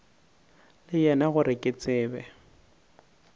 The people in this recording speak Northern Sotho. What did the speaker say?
le yena gore ke tsebe